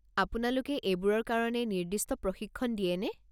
আপোনালোকে এইবোৰৰ কাৰণে নিৰ্দিষ্ট প্ৰশিক্ষণ দিয়েনে?